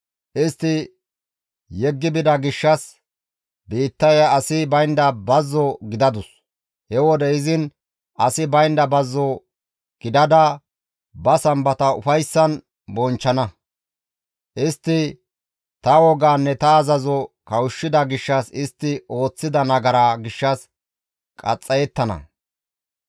Istti yeggi bida gishshas biittaya asi baynda bazzo gidadus; he wode izin asi baynda bazzo gidada ba Sambata ufayssan bonchchana; istti ta wogaanne ta azazoza kawushshida gishshas istti ooththida nagaraa gishshas qaxxayettana.